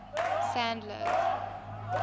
sandler's